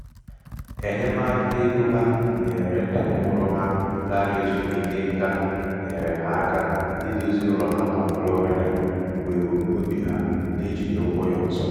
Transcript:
enyemaka égo ha nyere ndị mụrụ ha lara ezumike nká nyeere ha aka idozi ụlọ ha nọ na flọrịda bụ ebumnobi ha n'ejighị ụgwọ ya ọzọ.